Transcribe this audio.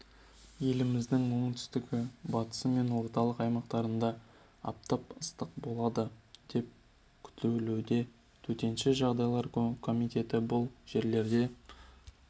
еліміздің оңтүстігі батысы мен орталық аймақтарында аптап ыстық болады деп күтілуде төтенше жағдайлар комитеті бұл жерлерде